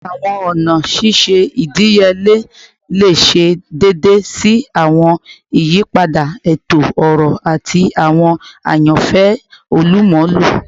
Awọn ọna ṣiṣe idiyele le ṣe deede si awọn iyipada eto-ọrọ ati awọn ayanfẹ olumulo